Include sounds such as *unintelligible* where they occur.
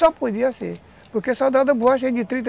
Só podia ser, porque soldado da borracha é de trinta *unintelligible*